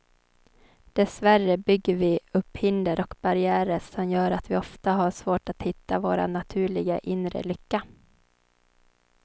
Dessvärre bygger vi upp hinder och barriärer som gör att vi ofta har svårt att hitta vår naturliga, inre lycka.